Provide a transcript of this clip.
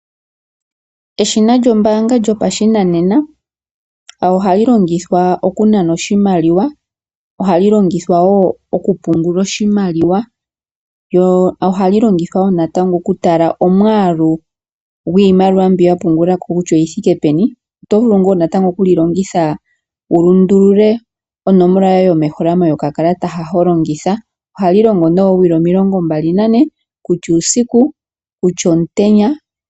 Eshina lyombaanga lyopashinanena ohali longithwa okunana oshimaliwa, ohali longithwa wo okupungula oshimaliwa. Lyo ohali longithwa wo natango okutala omwaalu gwiimaliwa mbyoka wa pungulako kutya oyi thike peni. Oto vulu wo oku li longitha wu lundule onomola yoye yomeholamo yokakalata hoka ho longitha. Ohali longo nee oowili 24 kutya uusiku, kutya omutenya.